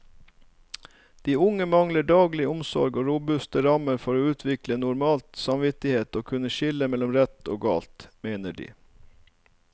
De unge mangler daglig omsorg og robuste rammer for å utvikle normal samvittighet og kunne skille mellom rett og galt, mener de.